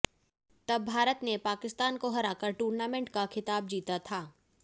तब भारत ने पाकिस्तान को हराकर टूर्नमेंट का खिताब जीता था